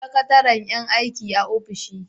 Sakatare yan aiki a ofishi.